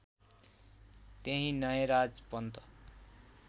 त्यहीँ नयराज पन्त